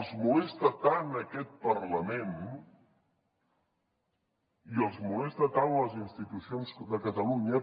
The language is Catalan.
els molesta tant aquest parlament i els molesten tant les institucions de catalunya